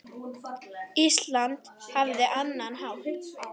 Ísland hafði annan hátt á.